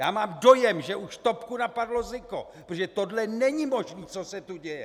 Já mám dojem, že už topku napadl zika, protože tohle není možné, co se tu děje!